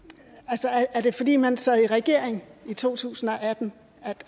jeg det fordi man sad i regering i to tusind og atten